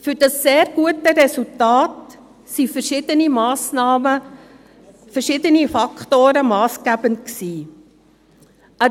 Für dieses sehr gute Resultat waren verschiedene Faktoren massgebend.